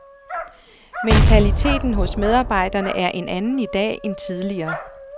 Mentaliteten hos medarbejderne er en anden i dag end tidligere.